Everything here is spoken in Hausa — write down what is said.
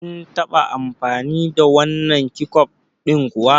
Kin taɓa amfani da wannan keccof ɗin kuwa?